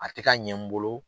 A tɛ ka ɲɛ n bolo